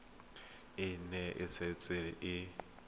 e ne e setse e